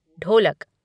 ढोलक